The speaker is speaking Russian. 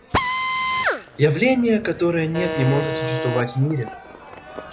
явления которое нет не может существовать в мире